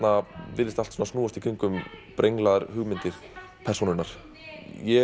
virðist allt snúast í kringum brenglaðar hugmyndir persónunnar ég